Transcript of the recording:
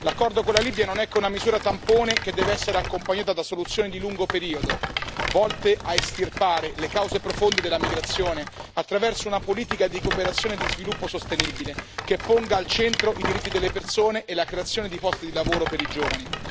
L'accordo con la Libia non è che una misura tampone che deve essere accompagnata da soluzioni di lungo periodo, volte a estirpare le cause profonde della migrazione attraverso una politica di cooperazione e di sviluppo sostenibile, che ponga al centro i diritti delle persone e la creazione di posti di lavoro per i giovani.